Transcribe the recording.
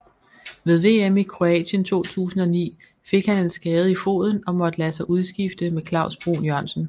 Ved VM i Kroatien 2009 fik han en skade i foden og måtte lade sig udskifte med Klavs Bruun Jørgensen